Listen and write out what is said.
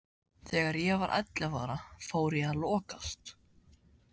Þegar ég var ellefu ára fór ég að lokast.